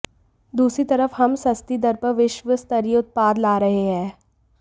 दूसरी तरफ हम सस्ती दर पर विश्व स्तरीय उत्पाद ला रहे हैं